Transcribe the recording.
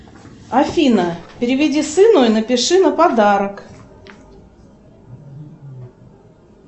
афина переведи сыну и напиши на подарок